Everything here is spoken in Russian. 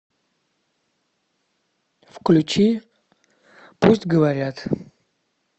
включи пусть говорят